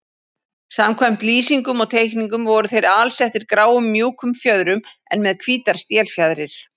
Samkvæmt lýsingum og teikningum voru þeir alsettir gráum mjúkum fjöðrum en með hvítar stélfjaðrir.